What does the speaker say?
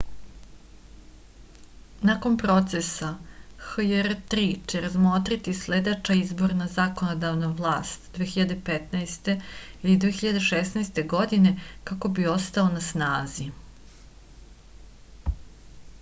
nakon procesa hjr-3 će razmotriti sledeća izabrana zakonodavna vlast 2015. ili 2016. godine kako bi ostao na snazi